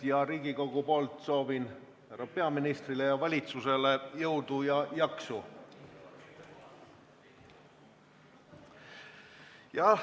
Soovin Riigikogu nimel härra peaministrile ja valitsusele jõudu ja jaksu!